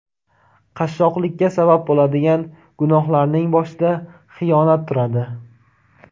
Qashshoqlikka sabab bo‘ladigan gunohlarning boshida xiyonat turadi.